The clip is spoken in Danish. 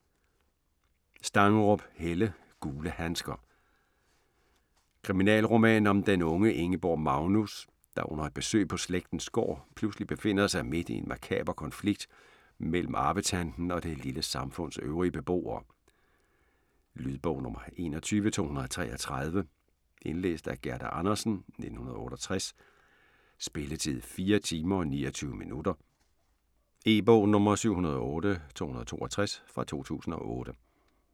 Stangerup, Helle: Gule handsker Kriminalroman om den unge Ingeborg Magnus, der under et besøg på slægtens gård, pludselig befinder sig midt i en makaber konflikt mellem arvetanten og det lille samfunds øvrige beboere. Lydbog 21233 Indlæst af Gerda Andersen, 1968. Spilletid: 4 timer, 29 minutter. E-bog 708262 2008.